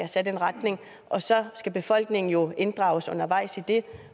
sat en retning og så skal befolkningen jo inddrages undervejs